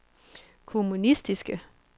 kommunistiske